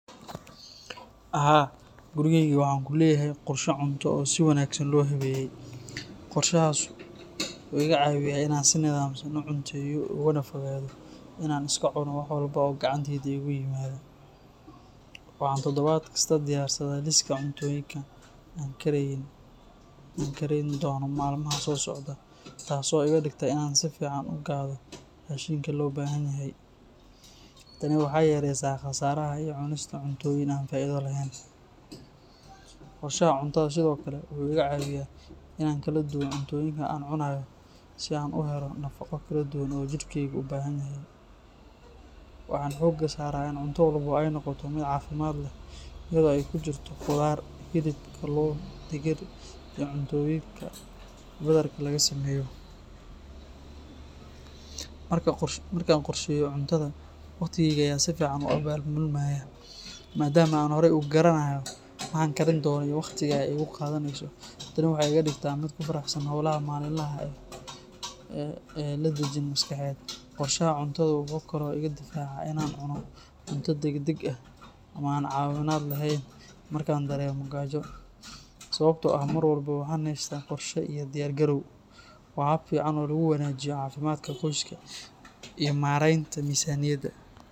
Haa, gurigayga waxaan ku leeyahay qorshe cunto oo si wanaagsan loo habeeyey. Qorshahaas waxa uu iga caawiyaa inaan si nidaamsan u cunteeyo, ugana fogaado in aan iska cuno wax walba oo gacanta iigu yimaada. Waxaan toddobaad kasta diyaarsadaa liiska cuntooyinka aan karayn doono maalmaha soo socda, taasoo iga dhigta inaan si fiican u gado raashinka loo baahan yahay. Tani waxay yareysaa khasaaraha iyo cunista cuntooyin aan faa'iido lahayn. Qorshaha cuntada sidoo kale wuxuu iga caawiyaa inaan kala duwo cuntooyinka aan cunayo si aan u helo nafaqo kala duwan oo jidhkaygu u baahan yahay. Waxaan xoogga saaraa in cunto walba ay noqoto mid caafimaad leh, iyadoo ay ku jirto khudaar, hilib, kalluun, digir, iyo cuntooyinka badarka laga sameeyo. Markaan qorsheeyo cuntada, waqtigayga ayaa si fiican u abaabulmaya, maadaama aan horey u garanayo waxaan karin doono iyo wakhtiga ay igu qaadanayso. Tani waxay iga dhigtaa mid ku faraxsan howlaha maalinlaha ah oo leh dejin maskaxeed. Qorshaha cuntadu wuxuu kaloo iga difaacaa inaan cuno cunto degdeg ah ama aan caafimaad lahayn markaan dareemo gaajo, sababtoo ah mar walba waxaan haystaa qorshe iyo diyaar garow. Waa hab fiican oo lagu wanaajiyo caafimaadka qoyska iyo maaraynta miisaaniyadda.